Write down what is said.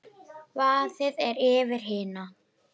Vaðið er yfir hina.